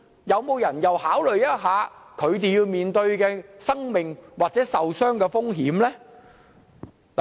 有人考慮他們面對的生命危險或受傷風險嗎？